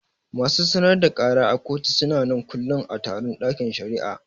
Masu sanar da kara a kotu suna nan kullum a taron ɗakin shari'ar